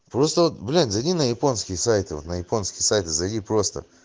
просто вот блин зайди на японские сайты на японские сайты зайди просто